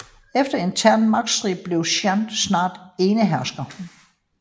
Efter en intern magtstrid blev Chun snart enehersker